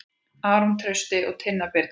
Aron Trausti og Tinna Birna.